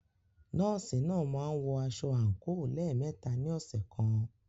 Nọ́ọ̀sì náà máa ń wọ aṣọ àǹkóò lẹ́ẹ̀mẹta nínu ọ̀sẹ̀ kan.